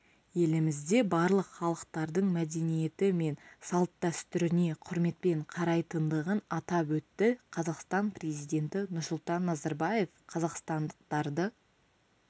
елімізде барлық халықтардың мәдениеті мен салт-дәстүріне құрметпен қарайтындығын атап өтті қазақстан президенті нұрсұлтан назарбаев қазақстандықтарды